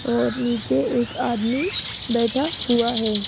और नीचे एक आदमी बैठा हुआ है।